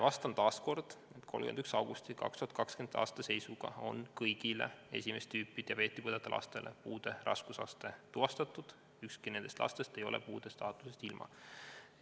Vastan taas kord, et 31. augusti 2020. aasta seisuga on kõigil esimest tüüpi diabeeti põdevatel lastel puude raskusaste tuvastatud, ükski nendest lastest ei ole puudestaatusest ilma jäänud.